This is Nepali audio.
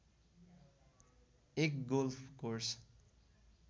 एक गोल्फ कोर्स